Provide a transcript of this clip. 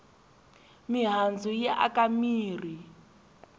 mihandzu yi aka mirhi